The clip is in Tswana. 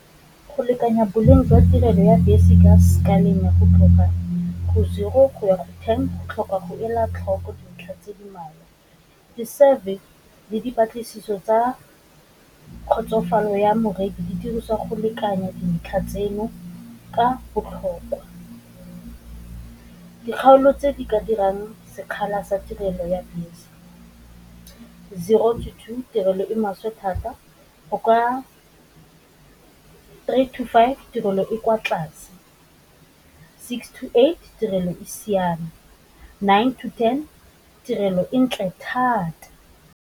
Go lekanya boleng jwa tirelo ya bese ka sekaleng ya go tloga go zero go ya go ten, go tlhoka go ela tlhoko dintlha tse di mmalwa. Di survey le dipatlisiso tsa kgotsofalo ya moreki di diriswa go lekanya dintlha tseno ka botlhokwa, dikgaolo tse di ka dirang sekgala sa tirelo ya bese zero to two tirelo e maswe thata, o kwa three to five tirelo e kwa tlase, six to eight tirelo e siame, nine to ten tirelo e ntle thata.